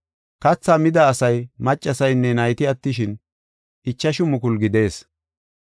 Kathaa mida asay maccasaynne nayti attishin, ichashu mukulu gidees.